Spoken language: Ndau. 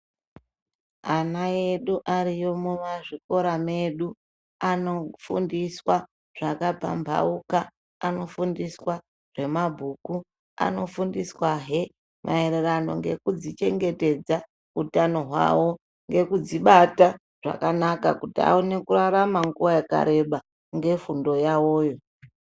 Ana edu arimo mumazvikora edu anofundiswa zvakapambauka anofundiswa zvemabhuku anofundiswa he maererano nekudzichengetedza kuitira hutano hwavo nekudzibata kuitira kuti akone kurarama nguwa yakareba nefundo yawo iyo.